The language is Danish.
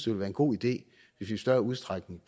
være en god idé i større udstrækning